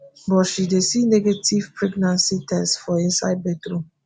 but she dey see negative pregnancy test for inside bathroom